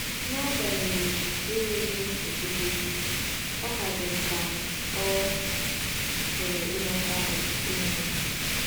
N’agbanyeghị enweghị nchekwube, ọ ka dị m ka ọ̀ pụrụ ịghọta ọtụtụ ihe.